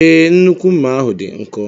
Ee, nnukwu mma ahu dị nkọ.